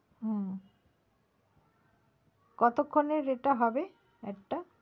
ও কতক্ষণের এটা হবে add টা?